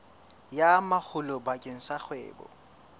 ya makgulo bakeng sa kgwebo